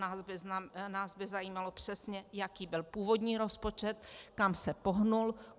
Nás by zajímalo přesně, jaký byl původní rozpočet, kam se pohnul.